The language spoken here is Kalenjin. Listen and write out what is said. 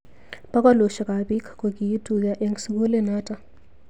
Bokolushek ab bik kokituyo eng sukulinotok.